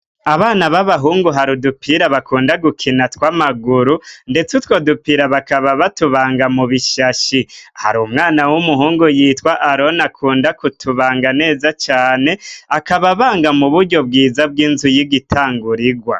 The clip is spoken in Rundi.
Abana b'abahungu hari udupira bakunda gukina tw'amaguru ndetse utwo dupira bakaba batubanga mu bishashi hari umwana w'umuhungu yitwa arone akunda kutubanga neza cane akaba abanga mu buryo bwiza bw'inzu y'igitangurigwa.